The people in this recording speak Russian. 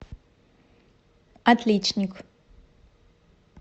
отличник